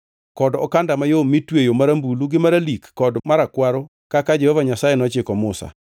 kod okanda mayom mitweyo marambulu gi maralik kod marakwaro kaka Jehova Nyasaye nochiko Musa.